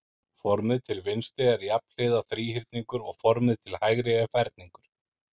Formið til vinstri er jafnhliða þríhyrningur og formið til hægri er ferningur.